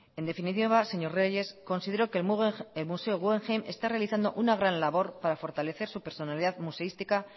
en definitiva señor reyes considero que el museo guggenheim está realizando una gran labor para fortalecer su personalidad museística